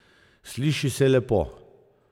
Sliši se lepo.